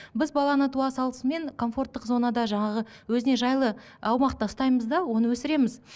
біз баланы туа салысымен комфорттық зонада жаңағы өзіне жайлы аумақта ұстаймыз да оны өсіреміз